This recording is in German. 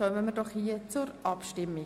Wir kommen zur Abstimmung.